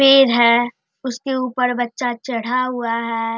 पेड़ है उसके ऊपर बच्चा चढ़ा हुआ है।